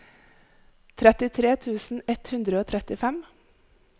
trettitre tusen ett hundre og trettifem